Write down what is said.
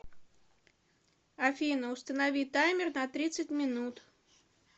афина установи таймер на тридцать минут